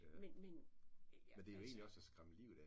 Men men jeg altså